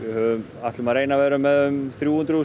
ætlum að reyna að vera með þrjúhundruð